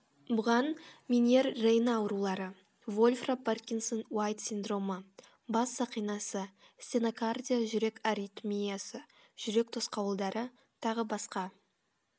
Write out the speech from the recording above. бұған меньер рейно аурулары вольфра паркинсон уайт синдромы бас сақинасы стенокардия жүрек аритмиясы жүрек тосқауылдары т б